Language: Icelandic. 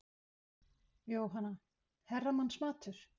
Jóhanna: Herramannsmatur?